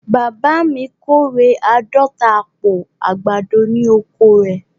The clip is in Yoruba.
Bàbá mi kọ́rẹ̀ àádọ̀ta àpò àgbádọ̀ ní oko rẹ̀.